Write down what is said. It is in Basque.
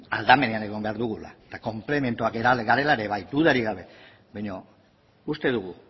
aldamenean egon behar dugula eta konplementuak garela ere bai dudarik gabe baina uste dugu